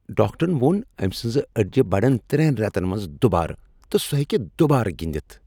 ڈاکٹرن ووٚن أمۍ سٕنزٕ اڈِجہِ بڈن ترٛین ریتن منز دوبارٕ تہٕ سۄ ہیکہ دوبارٕ گندتھ ۔